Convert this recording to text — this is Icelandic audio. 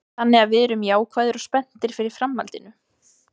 Þannig að við erum jákvæðir og spenntir fyrir framhaldinu.